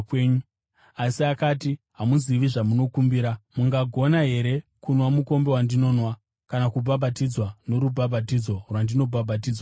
Jesu akati, “Hamuzivi zvamunokumbira. Mungagona here kunwa mukombe wandinonwa kana kubhabhatidzwa norubhabhatidzo rwandinobhabhatidzwa narwo?”